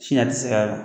Sini a ti se ka